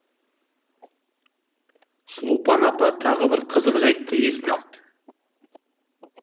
сұлупан апа тағы бір қызық жәйтті есіне алды